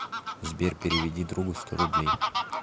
сбер переведи другу сто рублей